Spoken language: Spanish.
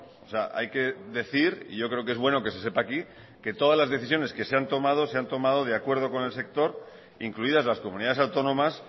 o sea hay que decir y yo creo que es bueno que se sepa aquí que todas las decisiones que se han tomado se han tomado de acuerdo con el sector incluidas las comunidades autónomas